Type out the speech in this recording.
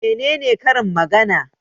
Menene karin magana?